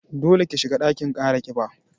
Dole ki shiga ɗakin kara ƙiba